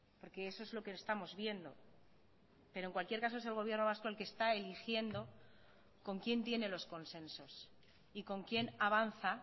porque eso es lo que estamos viendo pero en cualquier caso es el gobierno vasco el que está eligiendo con quién tiene los consensos y con quién avanza